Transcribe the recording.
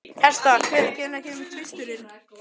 Hertha, hvenær kemur tvisturinn?